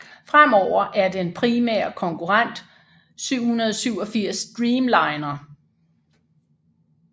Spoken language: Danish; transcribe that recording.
Fremover er den primære konkurrent 787 Dreamliner